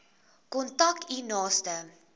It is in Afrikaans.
kontak u naaste